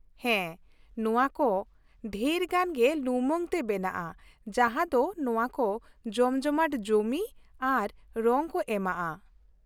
ᱦᱮᱸ, ᱱᱚᱶᱟ ᱠᱚ ᱰᱷᱮᱨᱜᱟᱱ ᱜᱮ ᱞᱩᱢᱟᱹᱝ ᱛᱮ ᱵᱮᱱᱟᱜᱼᱟ ᱡᱟᱦᱟᱸ ᱫᱚ ᱱᱚᱶᱟ ᱠᱚ ᱡᱚᱢᱡᱚᱢᱟᱴ ᱡᱚᱢᱤ ᱟᱨ ᱨᱚᱝ ᱠᱚ ᱮᱢᱟᱜᱼᱟ ᱾